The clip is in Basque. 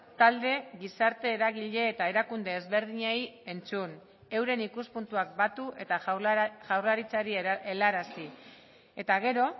talde gizarte eragile eta erakunde ezberdinei entzun euren ikuspuntuak batu eta jaurlaritzari helarazi eta gero